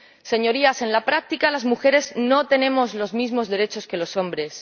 Señorías, en la práctica, las mujeres no tenemos los mismos derechos que los hombres.